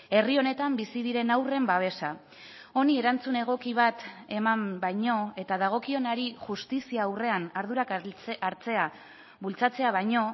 herri honetan bizi diren haurren babesa honi erantzun egoki bat eman baino eta dagokionari justizia aurrean ardurak hartzea bultzatzea baino